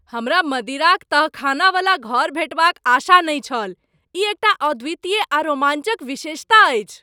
हमरा मदिराक तहखानावला घर भेटबाक आशा नहि छल, ई एकटा अद्वितीय आ रोमाञ्चक विशेषता अछि।